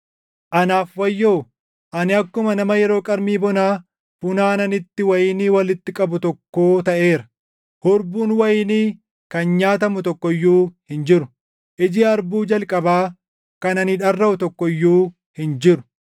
Anaaf wayyoo! Ani akkuma nama yeroo qarmii bonaa funaananitti wayinii walitti qabu tokkoo taʼeera; hurbuun wayinii kan nyaatamu tokko iyyuu hin jiru; iji harbuu jalqabaa kan ani dharraʼu tokko iyyuu hin jiru.